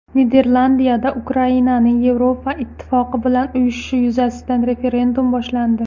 Niderlandiyada Ukrainaning Yevropa Ittifoqi bilan uyushishi yuzasidan referendum boshlandi.